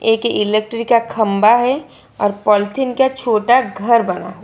एक इलेक्ट्रिक का खंभा है और पॉलीथिन का छोटा घर बना हुआ --